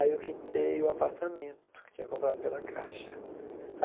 Aí eu quitei o apartamento, que tinha comprado pela caixa.